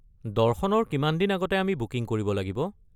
দৰ্শনৰ কিমান দিন আগতে আমি বুকিং কৰিব লাগিব?